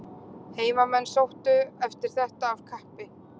Heimamenn sóttu eftir þetta af kappi.